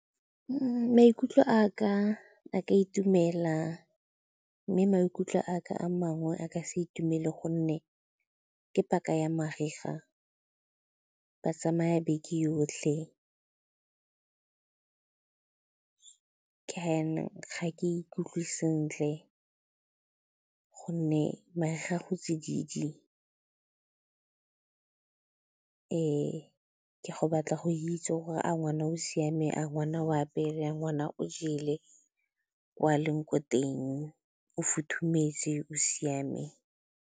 Maikutlo a ka a ka itumela mme maikutlo a ka a mangwe a ka se itumele gonne ke paka ya mariga, ba tsamaya beke yotlhe, ka jaanong, ga ke ikutlwe sentle gonne mariga go tsididi. Ke go batla go itse gore a ngwana o siame, a ngwana o apere, a ngwana o jele ko a leng ko teng, o futhumetse, o siame?